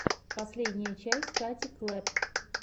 последняя часть кати клэпп